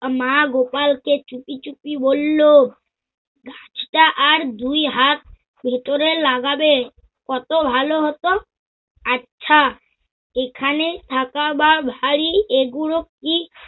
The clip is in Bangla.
মা গোপালকে চুপি চুপি বলল, গাছটা আর দুই হাত ভেতরে লাগাবে কত ভালো হত। আচ্ছা এখানে থাকা বা ভারি এগুলো কি